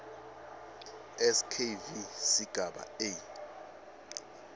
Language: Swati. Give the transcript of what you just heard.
skv sigaba a